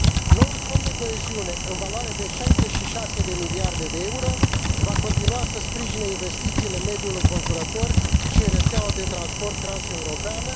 Noul Fond de coeziune, în valoare de 66 de miliarde de euro, va continua să sprijine investițiile, mediul înconjurător și rețeaua de transport transeuropeană.